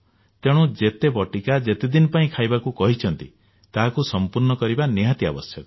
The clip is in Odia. ତେଣୁ ଯେତେ ବଟିକା ଯେତେ ଦିନ ପାଇଁ ଖାଇବାକୁ କହିଛନ୍ତି ତାହାକୁ ସମ୍ପୂର୍ଣ୍ଣ କରିବା ନିହାତି ଆବଶ୍ୟକ